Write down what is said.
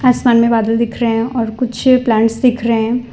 आसमान में बादल दिख रहे हैं और कुछ प्लांट्स दिख रहे हैं।